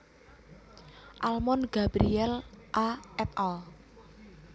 Almond Gabriel A et al